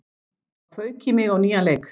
Þá fauk í mig á nýjan leik.